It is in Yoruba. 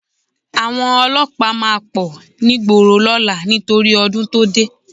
Àwọn olọ́pàá máa pọ̀ nígboro lọ́la nítorí ọdún tó dé